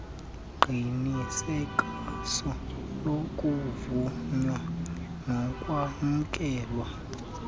uqinisekiso lokuvunywa nokwamkelwa